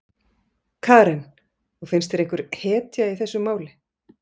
Karen: Og finnst þér einhver hetja í þessu máli?